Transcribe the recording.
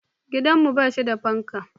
Gidanmu ba shi da fanka.